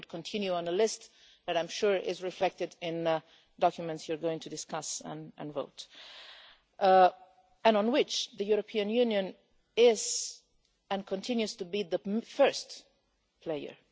I could continue with a list that I am sure is reflected in the documents you are going to discuss and vote on and on which the European Union is, and continues to be, the first player.